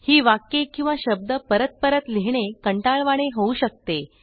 ही वाक्ये किंवा शब्द परत परत लिहिणे कंटाळवाणे होऊ शकते